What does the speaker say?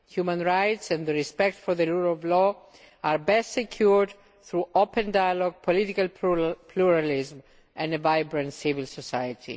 Human rights and the respect for the rule of law are best secured through open dialogue, political pluralism and a vibrant civil society.